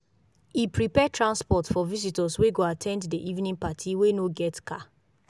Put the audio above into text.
e prepare transport for visitors wey go at ten d d evening party wey no get car